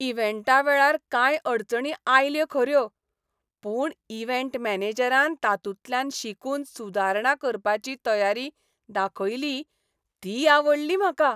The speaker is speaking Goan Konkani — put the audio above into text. इव्हँटा वेळार कांय अडचणी आयल्यो खऱ्यो, पूण इव्हँट मॅनेजरान तातूंतल्यान शिकून सुदारणा करपाची तयारी दाखयली ती आवडली म्हाका.